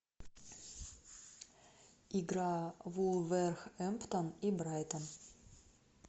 игра вулверхэмптон и брайтон